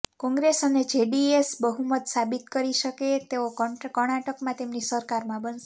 કોંગ્રેસ અને જેડીએસ બહુમત સાબિત કરી શકે તો કર્ણાટકમાં તેમની સરકારમાં બનશે